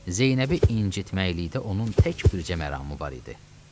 Zeynəbi incitməylikdə onun tək bircə məramı var idi.